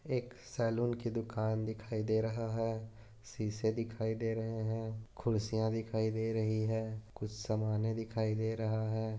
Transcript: एक सलून कि दुकान दिखाई दे रहा है सिसे दिखाई दे रहे है खुर्सिया दिखाई दे रही है कूच समाने दिखाई दे रहा है।